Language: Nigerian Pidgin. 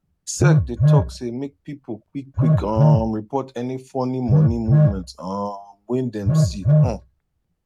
sec dey talk say make pipo quick quick um report any funny money movement um wey dem see um